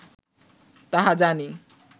তাহা জানি